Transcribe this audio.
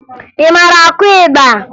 Ị mara akụ ịgba?